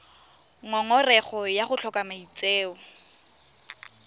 ngongorego ya go tlhoka maitseo